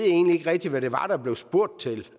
egentlig ikke rigtig hvad det var der blev spurgt til